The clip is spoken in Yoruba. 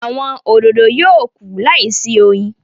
Awọn òdodo yóò kú láìsí oyin